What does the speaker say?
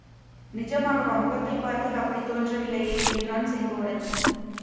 நிஜமாகவா முகத்தை பார்த்தால் அப்படி தோன்றவில்லையே என்றான் செங்கோடன்